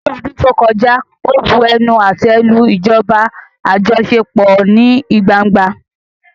Ní ọdún tó kọjá, ó bu ẹnu àtẹ́ lu ìjọba àjọṣepọ̀ ní gbangba.